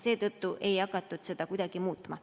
Seetõttu ei hakatud seda muutma.